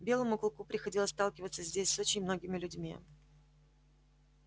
белому клыку приходилось сталкиваться здесь с очень многими людьми